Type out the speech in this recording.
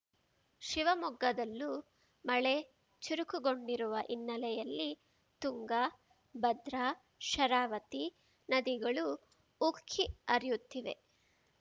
ಶಿವಮೊಗ್ಗದಲ್ಲೂ ಮಳೆ ಚುರುಕುಗೊಂಡಿರುವ ಹಿನ್ನೆಲೆಯಲ್ಲಿ ತುಂಗಾ ಭದ್ರಾ ಶರಾವತಿ ನದಿಗಳು ಉಕ್ಕಿ ಹರಿಯುತ್ತಿವೆ